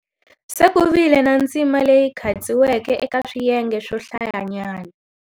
Se ku vile na ndzima leyi khatsiweke eka swiyenge swo hlayanyana.